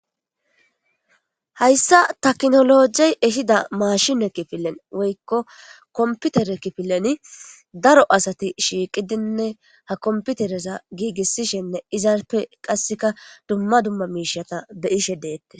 hayssa taknologey ehida mashine kifilen woykko komputere kifileni daro asati shiiqidinne ha komputereza giigissishenne izaarpe qasseka dumma dumma miishata be ishe deette